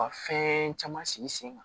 Ka fɛn caman sigi sen kan